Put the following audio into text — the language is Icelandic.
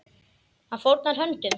Hann fórnar höndum.